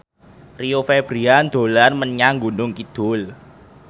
Rio Febrian dolan menyang Gunung Kidul